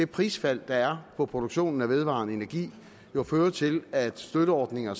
prisfald der er på produktionen af vedvarende energi jo føre til at støtteordninger